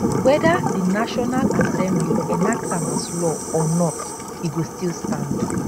weda di national assembly enact am as law or not e go still stand